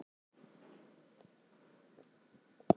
Ég vona að nú líði þér vel.